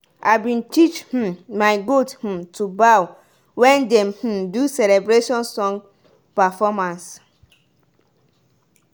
people wey get animals go march around the square too for the grand finale.